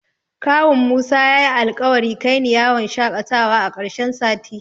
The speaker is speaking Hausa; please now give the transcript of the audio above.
Kawun Musa yayi alƙawari kaini yawon shaƙatawa a ƙarshen sati.